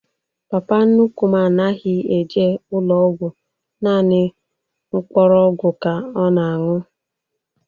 Papa nnukwu m anaghị eje ụlọ ọgwụ, nanị mkpọrọgwụ ka ọ na anwụ